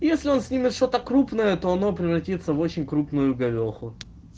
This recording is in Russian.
если он с ними что-то крупное то оно превратится в очень крупную говёху